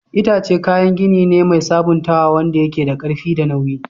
Itace kayan gini ne mai sabuntawa wanda yake da ƙarfi da nauyi.